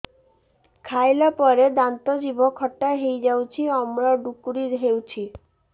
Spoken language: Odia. ଖାଇଲା ପରେ ଦାନ୍ତ ଜିଭ ଖଟା ହେଇଯାଉଛି ଅମ୍ଳ ଡ଼ୁକରି ହଉଛି